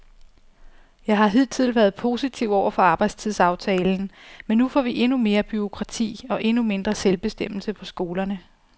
Jeg har hidtil været positiv over for arbejdstidsaftalen, men nu får vi endnu mere bureaukrati og endnu mindre selvbestemmelse på skolerne.